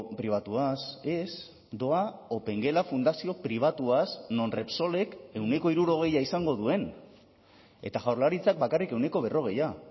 pribatuaz ez doa opengela fundazio pribatuaz non repsolek ehuneko hirurogeia izango duen eta jaurlaritzak bakarrik ehuneko berrogeia